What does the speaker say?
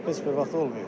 Heç bir vaxt olmayıb.